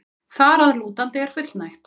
þar að lútandi er fullnægt.